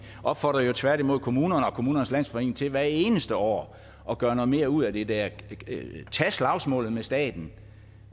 opfordrede jo tværtimod kommunerne og kommunernes landsforening til hvert eneste år at gøre noget mere ud af det der og tage slagsmålet med staten